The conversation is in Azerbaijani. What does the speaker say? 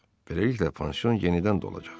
Beləliklə pansion yenidən dolacaq.